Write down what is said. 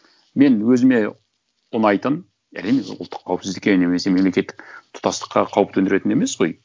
мен өзіме ұнайтын әрине ол ұлттық қауіпсіздікке немесе мемлекеттік тұтастыққа қауіп төндіретін емес қой